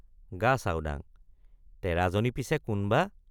গাচাওডাঙ—তেৰাজনী পিছে কোন বা?